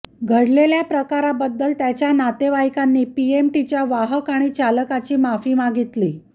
घडलेल्या प्रकाराबद्दल त्याच्या नातेवाईकांनी पीएमटीच्या वाहक आणि चालकाची माफी मागितली